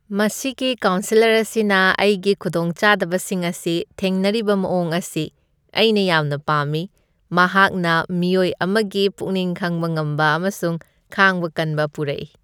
ꯃꯁꯤꯒꯤ ꯀꯥꯎꯟꯁꯦꯂꯔ ꯑꯁꯤꯅ ꯑꯩꯒꯤ ꯈꯨꯗꯣꯡꯆꯥꯗꯕꯁꯤꯡ ꯑꯁꯤ ꯊꯦꯡꯅꯔꯤꯕ ꯃꯑꯣꯡ ꯑꯁꯤ ꯑꯩꯅ ꯌꯥꯝꯅ ꯄꯥꯝꯃꯤ ꯫ ꯃꯍꯥꯛꯅ ꯃꯤꯑꯣꯏ ꯑꯃꯒꯤ ꯄꯨꯛꯅꯤꯡ ꯈꯪꯕ ꯉꯝꯕ ꯑꯃꯁꯨꯡ ꯈꯥꯡꯕ ꯀꯟꯕ ꯄꯨꯔꯛꯏ ꯫